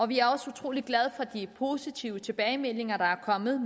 vi er også utrolig glade for de positive tilbagemeldinger der er kommet